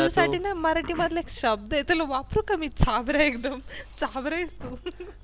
मराठी मधला एक शब्द आहे वापरू का मी चाभरा एकदम चाभरा आहेस तू.